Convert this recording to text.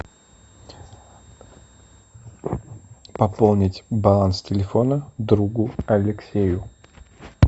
пополнить баланс телефона другу алексею